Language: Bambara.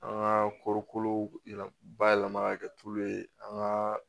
An ka kɔɔri kolo yɛlɛ ba yɛlɛma ka kɛ tulu ye an ka